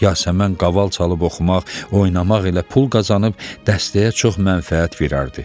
Yasəmən qaval çalıb oxumaq, oynamaq ilə pul qazanıb dəstəyə çox mənfəət verərdi.